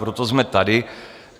Proto jsme tady.